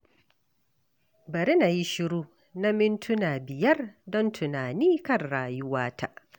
Bari na yi shiru na mintuna biyar don tunani kan rayuwata.